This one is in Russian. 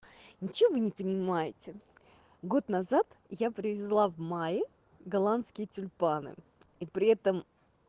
ничего вы не понимаете год назад я привезла в мае голландские тюльпаны и при этом